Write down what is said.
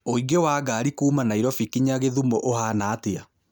ũingĩ wa ngari kuũma Nairobi kĩnya githumo ũhaana atĩa